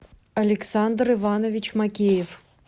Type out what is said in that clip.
александр иванович макеев